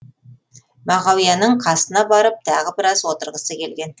мағауияның қасына барып тағы біраз отырғысы келген